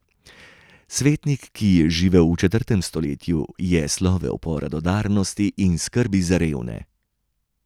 Svetnik, ki je živel v četrtem stoletju, je slovel po radodarnosti in skrbi za revne.